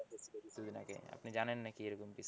কিছুদিন আগে আপনি জানেন নাকি এরকম,